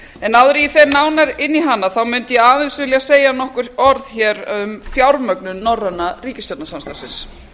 en áður en ég fer nánar inn í hana þá mundi ég aðeins vilja segja nokkur orð um fjármögnun norræna ríkisstjórnarsamstarfsins